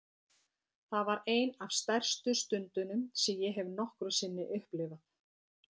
Það var ein af stærstu stundunum sem ég hef nokkru sinni upplifað.